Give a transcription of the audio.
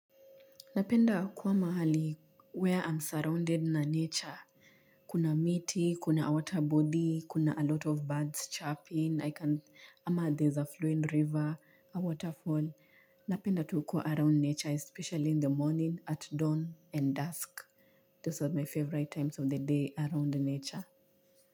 Napenda kuwa mahali where I'm surrounded na nature. Kuna miti, kuna water body, kuna a lot of birds chirping, ama there's a flowing river, a waterfall. Napenda tu kua around nature, especially in the morning, at dawn and dusk. Those are my favorite times of the day around nature.